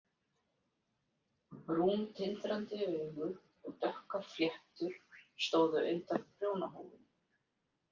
Brún, tindrandi augu og dökkar fléttur stóðu undan prjónahúfunni.